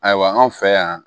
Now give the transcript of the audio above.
Ayiwa anw fɛ yan